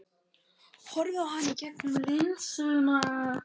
Horfir á hana í gegnum linsuna.